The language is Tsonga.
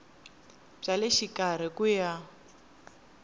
bya le xikarhi ku ya